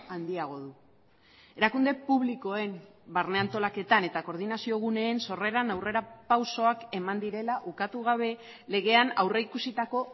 handiago du erakunde publikoen barne antolaketan eta koordinazio guneen sorreran aurrerapausoak eman direla ukatu gabe legean aurrikusitako